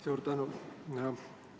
Suur tänu!